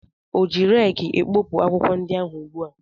Ọ ji reekị ekpopụ akwụkwọ ndị ahụ ugbua?